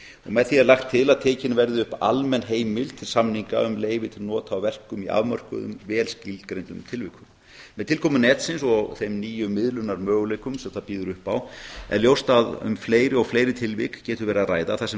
með því er lagt til að tekinn verði upp almenn heimild samninga um leyfi til nota á verkum í afmörkuðum vel skilgreindum tilvikum með tilkomu netsins og þeim nýju miðlunarmöguleikum sem það býður upp á er ljóst að um fleiri og fleiri tilvik getur verið að ræða þar sem